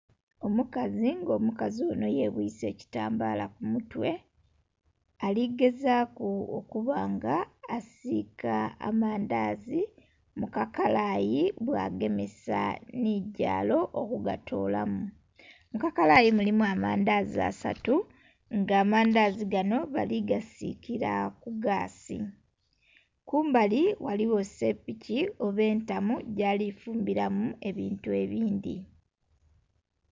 Omukazi nga omukazi onho yebwise ekitambala kumutwe aligezaku okubanga asika amandhazi mukakalayi nga bwagemesa nhigyalo okugatolamu. Mukakalayi mulimu amandhazi asatu nga amandhazi ganho bali gasikira kugasi. Kumbali ghaligho esepiki oba entamu gyalifumbiramu ebintu ebindhi.